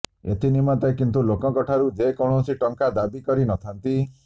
ଏଥିନିମନ୍ତେ କିନ୍ତୁ ଲୋକଙ୍କଠାରୁ ସେ କୌଣସି ଟଙ୍କା ଦାବି କରି ନ ଥାନ୍ତି